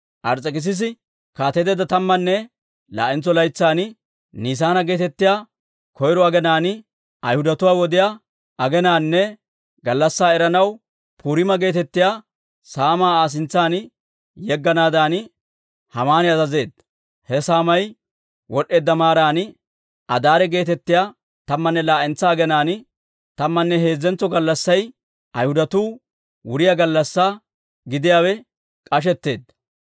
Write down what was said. Ars's'ekissisi kaateteedda tammanne laa'entso laytsan, Nisaana geetettiyaa koyro aginaan, Ayhudatuwaa wod'iyaa aginaanne gallassaa eranaw, Puriima geetettiyaa saamaa Aa sintsan yegganaadan, Haamani azazeedda. He saamay wod'd'eedda maaran, Adaare geetettiyaa tammanne laa"entsa aginaan, tammanne heezzentso gallassay Ayhudatuu wuriyaa gallassaa gidiyaawe k'ashetteedda.